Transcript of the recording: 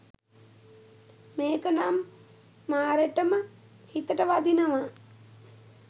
මේක නම් මාරෙටම හිතට වදිනවා.